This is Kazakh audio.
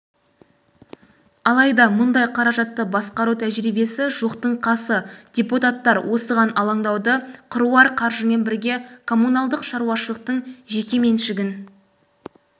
алайда мұндай қаражатты басқару тәжірибесі жоқтың қасы депутаттар осыған алаңдаулы қыруар қаржымен бірге коммуналдық шаруашылықтың жеке-меншігін